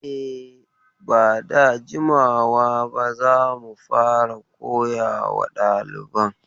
E, ba da jimawa ba za mu fara koyawa daliban.